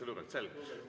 Selge!